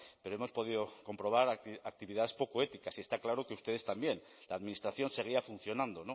pero hemos podido comprobar actividades poco éticas y está claro que ustedes también la administración seguía funcionando